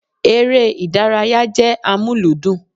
Ère ìdárayá jẹ́ amuludun